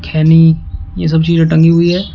खैनी ये सब चीजें टंगी हुई है।